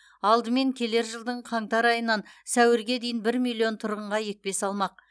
алдымен келер жылдың қаңтар айынан сәуірге дейін бір миллион тұрғынға екпе салмақ